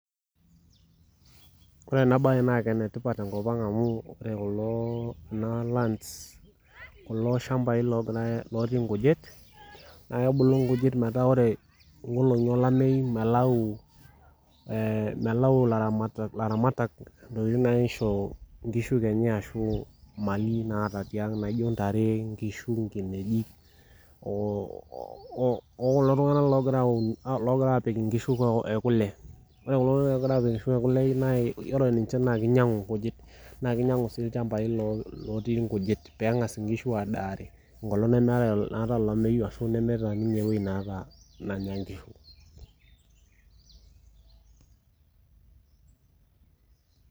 Ore enabae naa kenetipat tenkopang amu enoo , enalands kulo shambai logirae , lotii nkujit naa kebulu nkujit metaa ore nkolongi olameyu metaa melau, melau ilaramatak ntokitin naisho nkishu kenya ashu mali naata tiang naijo ntare , nkishu , nkinejik oo okulo tunganak logira aun , logira apik inkishu ekule , ore kulo tunganak logira apik inkishu ekule naa yiolo ninche naa kinyiangu nkujit naa kinyiangu sii ilchambai lotii nkujit pengas inkishu adaare enkolong nemetae , naatae olameyu ashu nemeeta ninye ewuei nanya inkishu .